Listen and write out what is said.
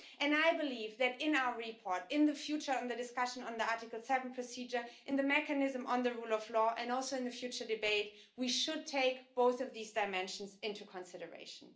I believe that in our reply in the future on the discussion under the Article 7 procedure and the mechanism on the rule of law and also in the future debate, we should take both of these dimensions into consideration.